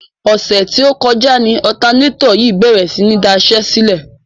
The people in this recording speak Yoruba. Ọ̀sẹ̀ tí ó kọjá ni ọ̀tanátọ̀ yìí bèrè sí ní daṣẹ́sílẹ̀.